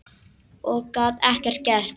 Og gat ekkert gert.